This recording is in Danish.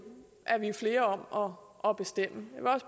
flere om at bestemme